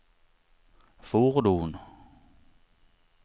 fordon